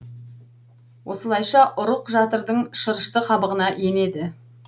осылайша ұрық жатырдың шырышты қабығына енеді